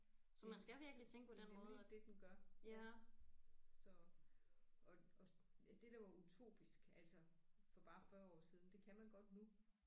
Mh det er nemlig det den gør ja så og og det der var utopisk altså for bare 40 år siden det kan man godt nu